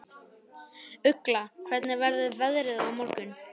Ugla, hvernig verður veðrið á morgun?